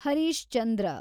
Harish Chandra